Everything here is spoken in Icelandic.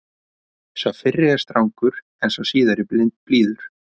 Sá fyrri er strangur en sá síðari blíður.